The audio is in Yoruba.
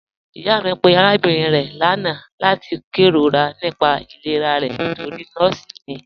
Iyà mi pẹ̀ arábìnrin rẹ̀ lána lati kèróra nípà ìlẹ̀rà rẹ̀ nítorí nọọ̀si ni.